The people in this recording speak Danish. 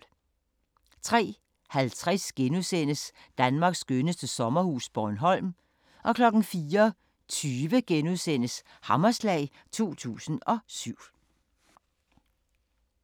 03:50: Danmarks skønneste sommerhus – Bornholm * 04:20: Hammerslag 2007 *